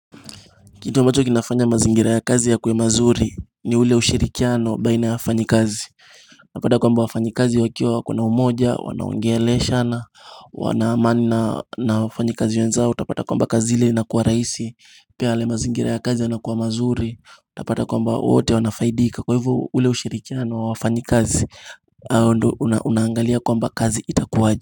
Kitu ambacho kinafanya mazingira ya kazi ya kwe mazuri ni ule ushirikiano baina ya wafanyakazi Unapata kwamba wafanyikazi wakiwa wako na umoja, wanaongeleshana, wana amani na wafanyikazi wenzao Utapata kwamba kazi ile na kuwa rahisi, pia yale mazingira ya kazi yanakuwa mazuri Utapata kwamba wote wanafaidika, kwa hivyo ule ushirikiano wa wafanyikazi, unaangalia kwamba kazi itakuwaje.